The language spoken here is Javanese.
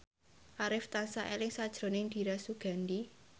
Arif tansah eling sakjroning Dira Sugandi